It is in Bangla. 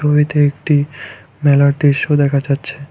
ছবিতে একটি মেলার দৃশ্য দেখা যাচ্ছে।